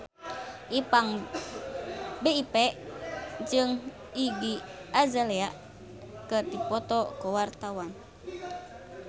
Ipank BIP jeung Iggy Azalea keur dipoto ku wartawan